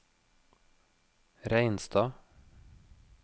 Reinstad